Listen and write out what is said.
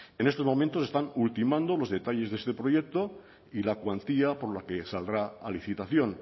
en estos momentos se están ultimando los detalles de este proyecto y la cuantía por la que saldrá a licitación